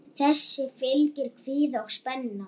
Þessu fylgir kvíði og spenna.